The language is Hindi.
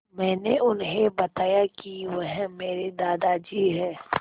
मैंने उन्हें बताया कि वह मेरे दादाजी हैं